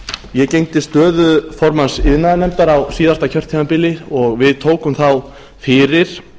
ég gegndi stöðu formanns iðnaðarnefndar á síðasta kjörtímabili og við tókum þá fyrir